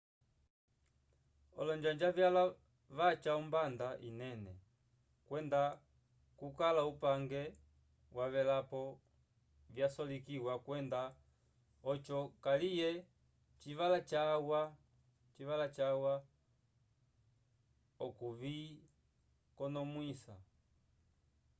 olonjanja vyalwa vaca ombanda inene kwenda kukala upange wavelapo vyasolekiwa kwenda oco kaliye civala cawa okuvikonomwisa